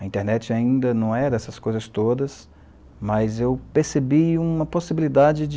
A internet ainda não era essas coisas todas, mas eu percebi uma possibilidade de...